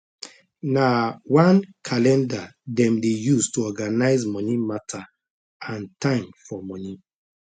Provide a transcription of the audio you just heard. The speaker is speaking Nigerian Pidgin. nah one calendar them dey use to organize moni matter and time for moni